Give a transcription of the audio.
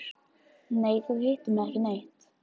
Nei, þú hittir mig ekki neitt.